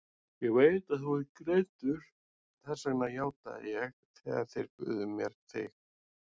Ég veit að þú ert greindur, þess vegna játaði ég þegar þeir buðu mér þig.